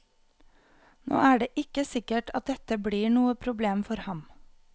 Nå er det ikke sikkert at dette blir noe problem for ham.